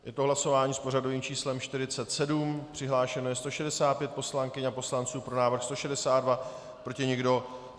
Je to hlasování s pořadovým číslem 47, přihlášeno je 165 poslankyň a poslanců, pro návrh 162, proti nikdo.